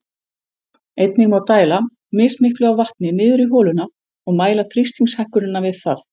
Einnig má dæla mismiklu af vatni niður í holuna og mæla þrýstingshækkunina við það.